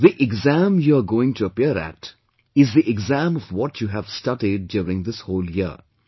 See, the exam you are going to appear at is the exam of what you have studied during this whole year